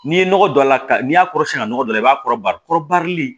N'i ye nɔgɔ don a la ka n'i y'a kɔrɔsiɲɛ dɔ la i b'a kɔrɔba kɔrɔbarili